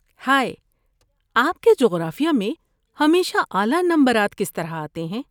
ہائے، آپ کے جغرافیہ میں ہمیشہ اعلی نمبرات کس طرح آتے ہیں؟